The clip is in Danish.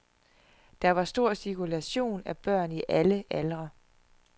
Der var stor cirkulation af børn i alle aldre.